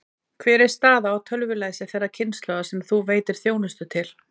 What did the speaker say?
Hver er staðan á tölvulæsi þeirrar kynslóðar sem þú veitir þjónustu til?